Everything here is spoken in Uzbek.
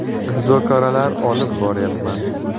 Muzokaralar olib boryapman.